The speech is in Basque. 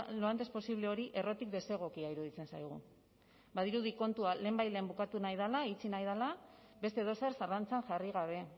lo antes posible hori errotik desegokia iruditzen zaigu badirudi kontua lehenbailehen bukatu nahi dela itxi nahi dela beste edozer zalantzan jarri gabe